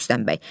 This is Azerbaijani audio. Rüstəm bəy.